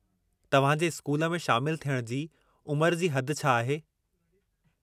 तवहां जे स्कूल में शामिलु थियण जी उमिरि जी हद छा आहे?